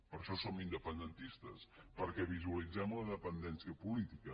per això som independentistes perquè visualitzem una dependència política